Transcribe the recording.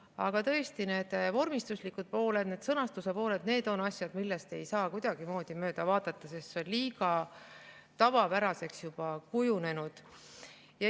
Aga tõesti see vormistuslik pool ja see sõnastuse pool on asjad, millest ei saa kuidagimoodi mööda vaadata, sest see on juba liiga tavapäraseks kujunenud.